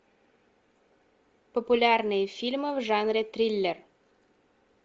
популярные фильмы в жанре триллер